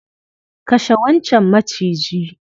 kashe wancan Maciji.